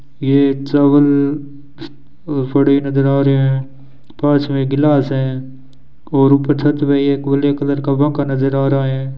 ये एक चावल पड़ी नजर आ रहे हैं पास मे गिलास हैं और ऊपर छत पे एक ओले कलर का कव्वाका नजर आ रहे हैं।